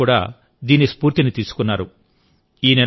ల విద్యార్థులు కూడా దీని స్ఫూర్తి ని తీసుకున్నారు